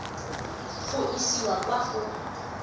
go e isa kwa go